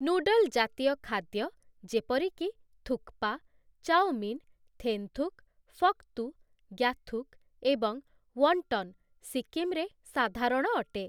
Noodle ଜାତୀୟ ଖାଦ୍ୟ ଯେପରିକି ଥୁକ୍ପା, ଚାଓମିନ୍, ଥେନ୍ଥୁକ, ଫକ୍ତୁ, ଗ୍ୟାଥୁକ୍ ଏବଂ ୱଣ୍ଟନ୍ ସିକିମ୍‌ରେ ସାଧାରଣ ଅଟେ ।